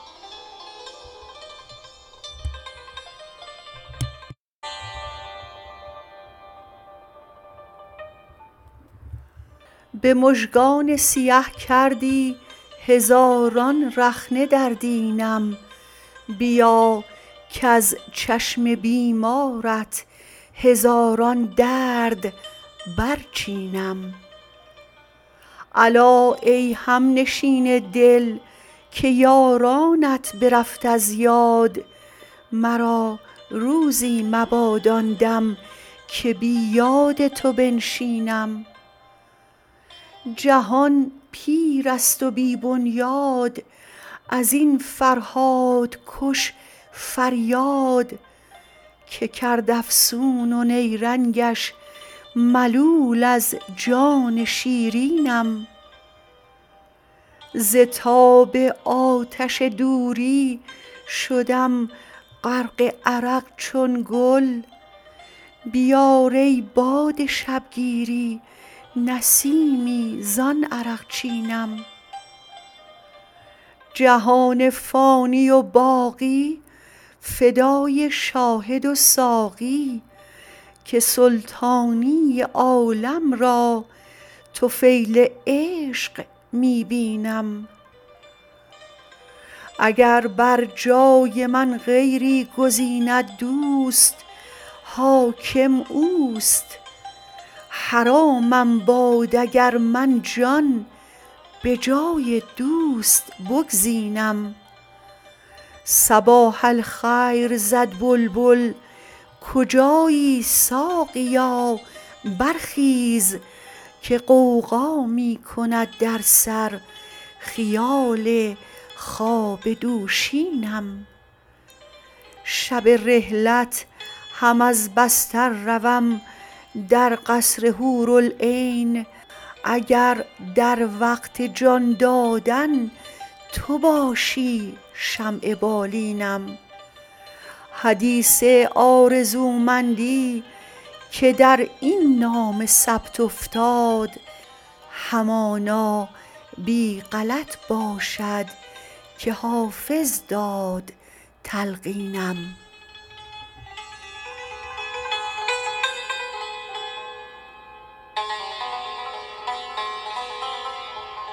به مژگان سیه کردی هزاران رخنه در دینم بیا کز چشم بیمارت هزاران درد برچینم الا ای همنشین دل که یارانت برفت از یاد مرا روزی مباد آن دم که بی یاد تو بنشینم جهان پیر است و بی بنیاد از این فرهادکش فریاد که کرد افسون و نیرنگش ملول از جان شیرینم ز تاب آتش دوری شدم غرق عرق چون گل بیار ای باد شبگیری نسیمی زان عرقچینم جهان فانی و باقی فدای شاهد و ساقی که سلطانی عالم را طفیل عشق می بینم اگر بر جای من غیری گزیند دوست حاکم اوست حرامم باد اگر من جان به جای دوست بگزینم صباح الخیر زد بلبل کجایی ساقیا برخیز که غوغا می کند در سر خیال خواب دوشینم شب رحلت هم از بستر روم در قصر حورالعین اگر در وقت جان دادن تو باشی شمع بالینم حدیث آرزومندی که در این نامه ثبت افتاد همانا بی غلط باشد که حافظ داد تلقینم